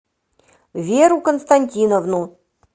веру константиновну